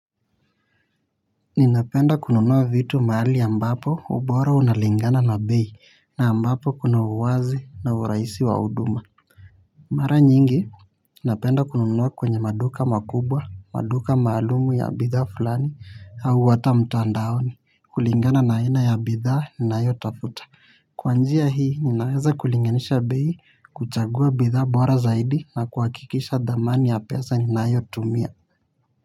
Ninapenda kununua vitu maali ambapo ubora unalingana na bei na ambapo kuna uwazi na uraisi wa uduma. Mara nyingi, napenda kununua kwenye maduka makubwa, maduka maalumu ya bithaa fulani au ata mtandaoni, kulingana na aina ya bithaa nnaayo tafuta. Kwa njia hii, ninaweza kulinganisha bei, kuchagua bithaa bora zaidi na kuakikisha dhamani ya pesa ninayo tumia.